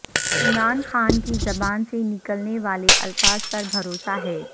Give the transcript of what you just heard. عمران خان کی زبان سے نکلنے والے الفاظ پر بھروسہ ہے